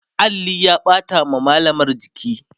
alli ya ɓata wa mallamar jiki